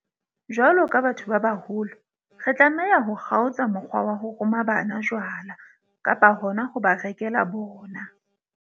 Jwalo ka batho ba baholo, re tlameha ho kgaotsa mokgwa wa ho roma bana jwala, kapa hona ho ba rekela bona.